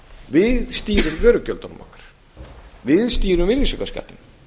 við stýrum vörugjöldunum okkar við stýrum virðisaukaskattinum